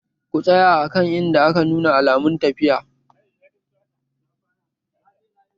Ku tsaya a kan inda aka nuna alamun tafiya!